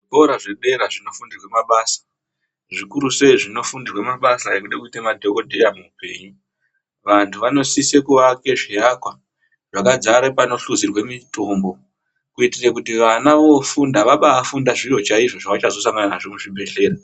Zvikora zvepadera zvinofundirwa mabasa zvikurusei zvinofundirwe mabasa ekufe kuita madhokodheya muupenyu vanthu vanosise kuaka zviakwa zvakadzare panohluzirwe mitombo kuitire kuti vana vofunda vabaafunde zviro chaizvo zvavachazosangana nazvo kuzvibhedhleya.